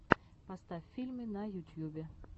поставь фильмы на ютьюбе